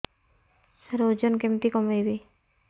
ସାର ଓଜନ କେମିତି କମେଇବି